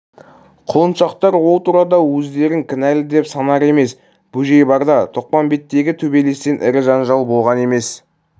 құлыншақтар ол турада өздерін кінәлы деп санар емес бөжей барда тоқпамбеттегі төбелестен ірі жанжал болған емес